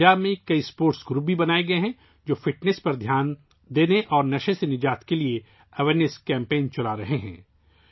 پنجاب میں کئی sports groups بھی بنائے گئے ہیں ، جو فٹنس پر توجہ دینے اور نشے کی لت سے نجات کے لیے بیداری مہم چلا رہے ہیں